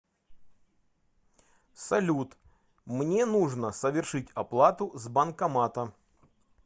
салют мне нужно совершить оплату с банкомата